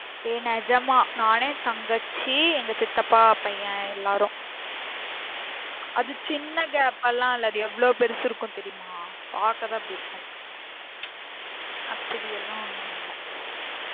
ஏ நிஜமா நானு தங்கச்சி எங்க சித்தப்பா பையன் எல்லாரும் அது சின்ன gap பாலாம் இல்ல அது எவ்ளோ பெருசு இருக்கும் தெரியுமா பாக்கதான் அப்படி இருக்கும் அப்பிடியெல்லாம் ஒன்னும் இல்ல